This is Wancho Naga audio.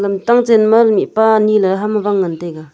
amtang chen ma mihpa ani le hama Wang ngan taiga.